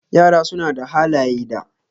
Yara suna da halaye da.